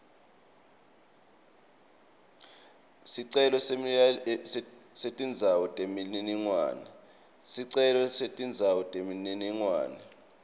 sicelo setindzawo temininingwane